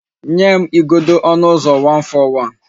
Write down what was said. Nye m igodo onu uzo 141